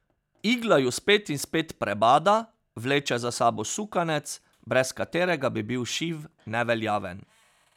Igla ju spet in spet prebada, vleče za sabo sukanec, brez katerega bi bil šiv neveljaven.